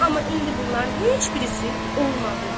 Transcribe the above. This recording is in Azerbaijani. Amma indi bunların heç birisi olmadı.